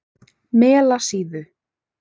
Melasíðu